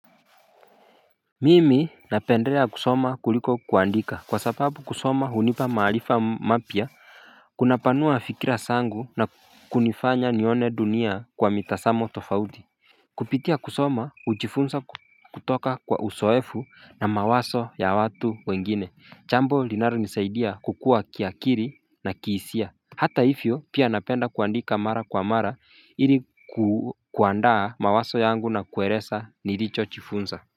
Mimi napendeleaa kusoma kuliko kuandika kwa sababu kusoma hunipa maarifa mapya Kuna panua fikira zangu na kunifanya nione dunia kwa mitazamo tofauti Kupitia kusoma hujifunza kutoka kwa uzoefu na mawazo ya watu wengine jambo linalo nisaidia kukua kiakili na kihisia. Hata hivyo pia napenda kuandika mara kwa mara hili kuandaa mawazo yangu na kueleza nilicho jifunza.